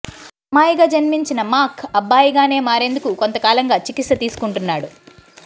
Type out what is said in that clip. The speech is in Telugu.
అమ్మాయిగా జన్మించిన మాక్ అబ్బాయిగానే మారేందుకు కొంతకాలంగా చికిత్స తీసుకుం టున్నాడు